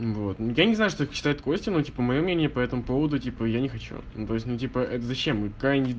я не знаю только что это костя ну типа моё мнение по этому поводу типа я не хочу то есть типа зачем это